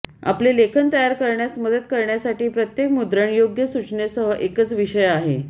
आपले लेखन तयार करण्यास मदत करण्यासाठी प्रत्येक मुद्रणयोग्य सूचनेसह एकच विषय आहे